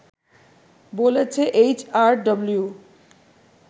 বলেছে এইচআরডব্লিউ